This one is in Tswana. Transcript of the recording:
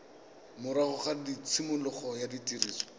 morago ga tshimologo ya tiriso